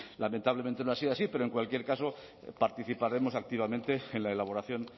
lamentablemente no ha sido así pero en cualquier caso participaremos activamente en la elaboración